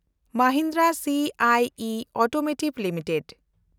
Mahindra CIE automotive limited